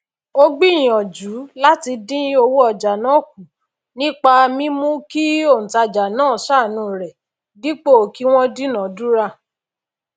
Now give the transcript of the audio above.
ó gbìyànjú làti dìn owó ojà náà kù nípa mímú kí ònòtajà nàá sàànú rè dípò kí wón dúnà dúrà